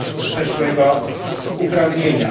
przeszłego uprawnienia.